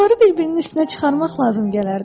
Onları bir-birinin üstünə çıxarmaq lazım gələrdi.